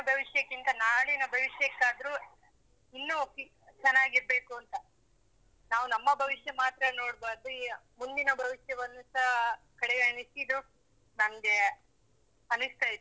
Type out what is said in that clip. ಭವಿಷ್ಯಕ್ಕಿಂತ ನಾಡಿನ ಭವಿಷ್ಯಕ್ಕಾದ್ರು ಇನ್ನು ಚೆನ್ನಾಗಿರ್ಬೇಕು ಅಂತ. ನಾವು ನಮ್ಮ ಭವಿಷ್ಯ ಮಾತ್ರ ನೋಡ್ಬಾರ್ದು, ಮುಂದಿನ ಭವಿಷ್ಯವನ್ನುಸ ಕಡೆಗಣಿಸಿದ್ದು ನಮ್ಗೆ ಅನಿಸ್ತಾ ಇತ್ತು.